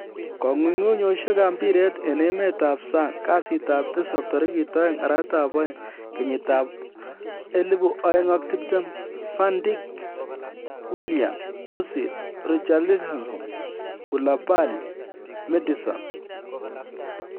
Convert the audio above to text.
Kong'ung'uyosiekab mpiret en emetab sang kasitab tisap 02/02/2020: Van Dijk, Willian, Ozil, Richarlison, Koulibaly, Maddison